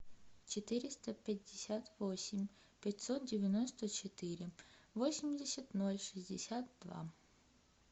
четыреста пятьдесят восемь пятьсот девяносто четыре восемьдесят ноль шестьдесят два